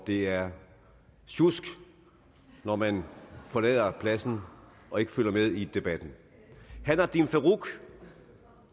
det er sjusk når man forlader pladsen og ikke følger med i debatten herre nadeem farooq